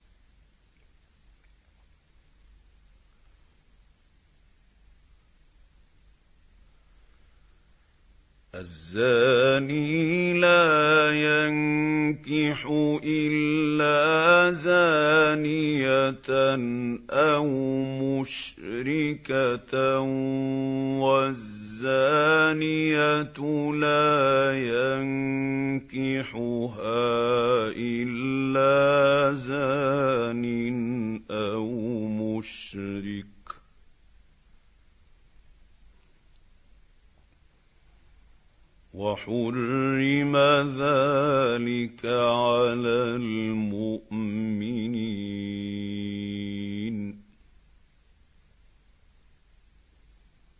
الزَّانِي لَا يَنكِحُ إِلَّا زَانِيَةً أَوْ مُشْرِكَةً وَالزَّانِيَةُ لَا يَنكِحُهَا إِلَّا زَانٍ أَوْ مُشْرِكٌ ۚ وَحُرِّمَ ذَٰلِكَ عَلَى الْمُؤْمِنِينَ